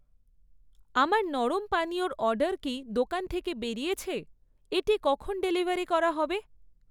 আমার নরম পানীয়র অর্ডার কি দোকান থেকে বেরিয়েছে? এটি কখন ডেলিভারি করা হবে?